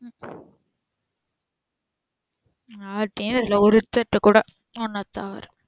யார்கிட்டயும் பேசல ஒருத்தர் கிட்ட கூட உன்ன தவிர.